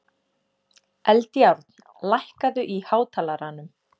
Eldjárn, lækkaðu í hátalaranum.